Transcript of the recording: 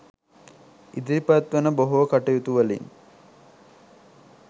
ඉදිරිපත්වන බොහෝ කටයුතුවලින්